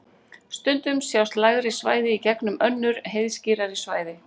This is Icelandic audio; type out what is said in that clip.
stundum sjást lægri svæði í gegnum önnur heiðskírari svæði